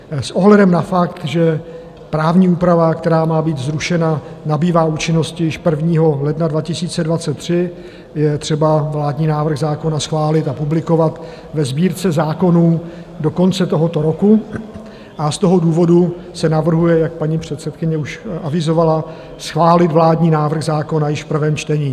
S ohledem na fakt, že právní úprava, která má být zrušena, nabývá účinnosti již 1. ledna 2023, je třeba vládní návrh zákona schválit a publikovat ve Sbírce zákonů do konce tohoto roku, a z toho důvodu se navrhuje, jak paní předsedkyně už avizovala, schválit vládní návrh zákona již v prvém čtení.